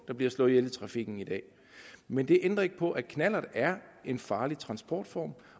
der bliver slået ihjel i trafikken i dag men det ændrer ikke på at knallert er en farlig transportform